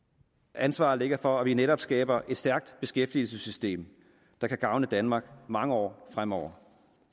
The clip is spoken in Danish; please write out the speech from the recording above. ansvaret ligger for at vi netop skaber et stærkt beskæftigelsessystem der kan gavne danmark mange år fremover